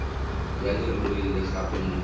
ya leruri le gape mo